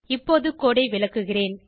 இப்போது கோடு ஐ விளக்குகிறேன்